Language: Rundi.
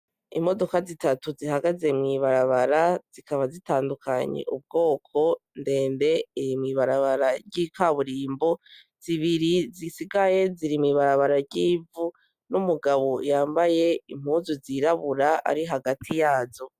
Imodoka zitatu zihagaze mw'ibarabara zikaba zitandukanye ubwoko, Ndende iri mw'ibarabara ry'ikaburimbo zibiri zisigaye ziri mw'ibarabara ry'ivu n'umugabo yambaye impuzu z'irabura ari hagati yazo.